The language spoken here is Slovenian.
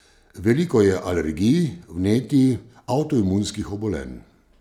Veliko je alergij, vnetij, avtoimunskih obolenj.